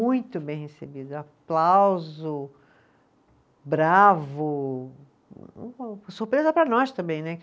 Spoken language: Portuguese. Muito bem recebido, aplauso, bravo, surpresa para nós também, né?